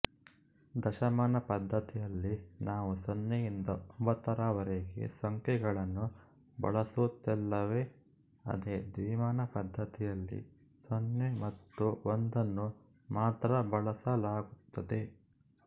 ದಶಮಾನ ಪದ್ಧತಿಯಲ್ಲಿ ನಾವು ಸೊನ್ನೆಯಿಂದ ಒಂಬತ್ತರವರೆಗೆ ಸಂಖ್ಯೆಗಳನ್ನು ಬಳಸುತ್ತೇವಲ್ಲವೇ ಅದೇ ದ್ವಿಮಾನ ಪದ್ಧತಿಯಲ್ಲಿ ಸೊನ್ನೆ ಮತ್ತು ಒಂದನ್ನು ಮಾತ್ರ ಬಳಸಲಾಗುತ್ತದೆ